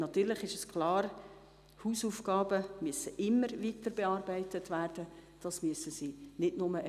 Natürlich müssen Hausaufgaben immer weiter bearbeitet werden, das ist klar.